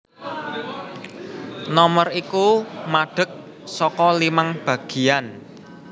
Nomer iku madheg saka limang bagéyan